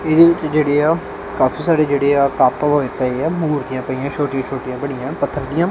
ਇਹਦੇ ਵਿੱਚ ਜਿਹੜੇ ਆ ਕਾਫੀ ਸਾਰੇ ਜਿਹੜੇ ਆ ਕੱਪ ਹੋਏ ਪਏ ਆ ਮੂਰਤੀਆਂ ਪਈਆਂ ਛੋਟੀ ਛੋਟੀ ਬਣੀਆਂ ਪੱਥਰ ਦੀਆਂ।